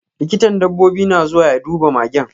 Likitan dabbobi na zuwa ya duba magen.